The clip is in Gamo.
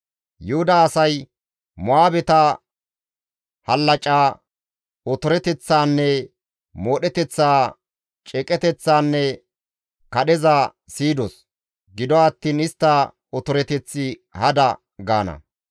Yuhuda asay, «Mo7aabeta hallaca, otoreteththaanne moodheteththa, ceeqeteththaanne kadheza siyidos; gido attiin istta otoreteththi hada» gaana.